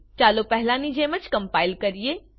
ચાલો પહેલાની જેમ કમ્પાઈલ કરીએ